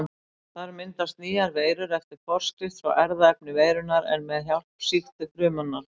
Þar myndast nýjar veirur eftir forskrift frá erfðaefni veirunnar en með hjálp sýktu frumunnar.